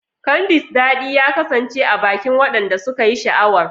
Candy's dadi ya kasance a bakin wadanda suka yi sha'awar.